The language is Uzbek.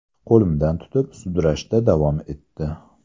Qo‘limdan tutib, sudrashda davom etdi.